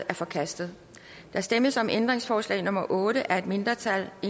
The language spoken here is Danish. er forkastet der stemmes om ændringsforslag nummer otte af et mindretal og